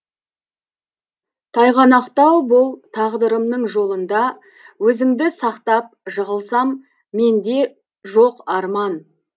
тайғанақтау бұл тағдырымның жолында өзіңді сақтап жығылсам менде жоқ арман